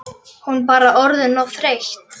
Hún bara orðin of þreytt.